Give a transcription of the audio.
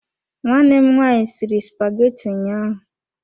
Nwanne m nwaanyị sịrị spageti ụnyaahụ.